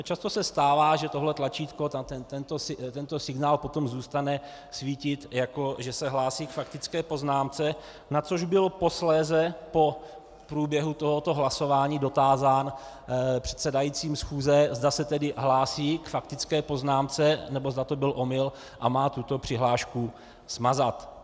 A často se stává, že tohle tlačítko, tento signál potom zůstane svítit, jako že se hlásí k faktické poznámce, na což byl posléze po průběhu tohoto hlasování dotázán předsedajícím schůze, zda se tedy hlásí k faktické poznámce, nebo zda to byl omyl a má tuto přihlášku smazat.